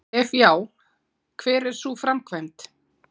Ef já, hver er sú framkvæmd?